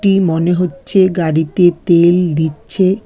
মনে হচ্ছে গাড়িতে তেল দিচ্ছে।